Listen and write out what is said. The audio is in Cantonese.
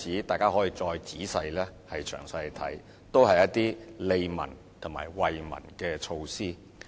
大家可以再詳細查看其他例子，都是一些利民及惠民的措施。